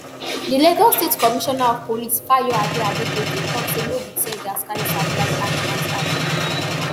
di lagos state commissioner of police fayoade adegoke tok say no be teargas canister blind aminat eye